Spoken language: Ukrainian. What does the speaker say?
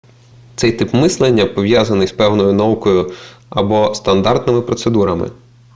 цей тип мислення пов'язаний з певною наукою або стандартними процедурами